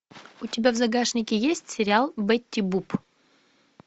у тебя в загашнике есть сериал бетти буп